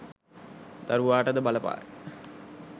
දරුවාට ද බලපායි.